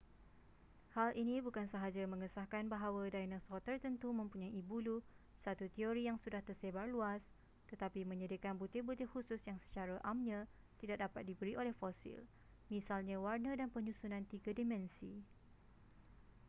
hal ini bukan sahaja mengesahkan bahawa dinosaur tertentu mempunyai bulu satu teori yang sudah tersebar luas tetapi menyediakan butir-butir khusus yang secara amnya tidak dapat diberi oleh fosil misalnya warna dan penyusunan tiga dimensi